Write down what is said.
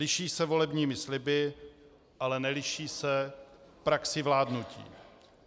Liší se volebními sliby, ale neliší se praxí vládnutí.